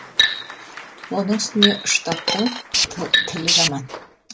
оның үстіне ұштаптың тілі жаман